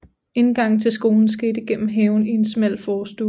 Indgangen til skolen skete gennem haven ind i en smal forstue